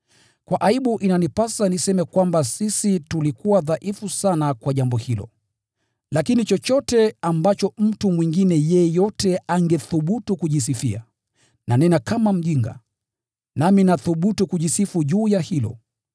Kwa aibu inanipasa niseme kwamba sisi tulikuwa dhaifu sana kwa jambo hilo! Lakini chochote ambacho mtu mwingine yeyote angethubutu kujisifia, nanena kama mjinga, nami nathubutu kujisifu juu ya hilo.